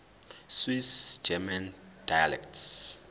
swiss german dialects